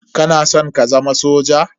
Kana san ka zama soja?